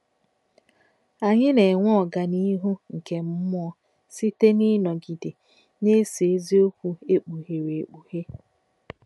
Anyị na-enwe ọganihu nke mmụọ site n’ịnọgide na-eso eziokwu e kpughere ekpughe